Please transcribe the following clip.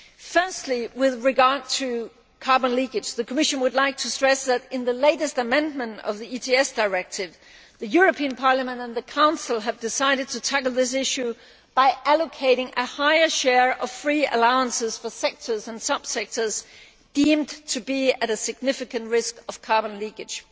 Firstly, with regard to carbon leakage, the Commission would like to stress that in the latest amendment of the ETS Directive the European Parliament and the Council have decided to tackle this issue by allocating a higher share of free allowances for sectors and subsectors deemed to be at a significant risk of carbon leakage.